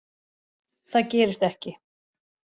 Það gerist ekki